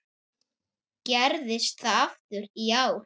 Gerðist það aftur í ár.